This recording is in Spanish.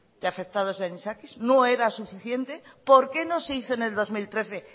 de afectados de anisakis no era suficiente por qué no se hizo en el dos mil trece